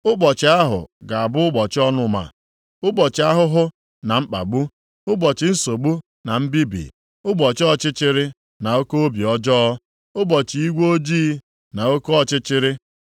Ụbọchị ahụ ga-abụ ụbọchị ọnụma, ụbọchị ahụhụ na mkpagbu, ụbọchị nsogbu na mbibi, ụbọchị ọchịchịrị na oke obi ọjọọ, ụbọchị igwe ojii, na oke ọchịchịrị,